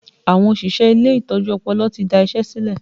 Àwọn òṣìṣẹ́ ilé ìtọ́jú ọpọlọ ti da isẹ silẹ